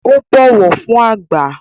Ó bọ̀wọ̀ fún àgbà